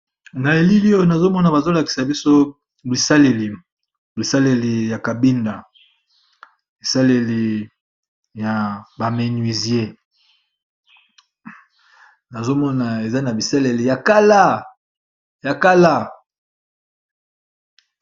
Na elilio nazomona bazolakisa biso isaleli bisaleli ya kabinda esaleli ya baménuisier nazomona eza na bisaleli ya kala.